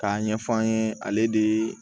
K'a ɲɛf'an ye ale de ye